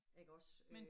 Ikke også øh